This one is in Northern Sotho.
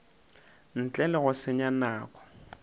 ntle le go senya nako